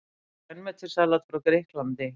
Grænmetissalat frá Grikklandi